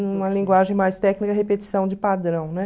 Numa linguagem mais técnica, repetição de padrão, né?